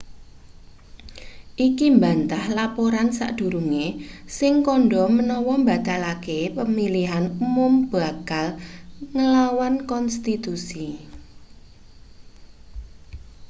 iki mbantah laporan sadurunge sing kandha menawa mbatalake pamilihan mum bakal nglawan konstitusi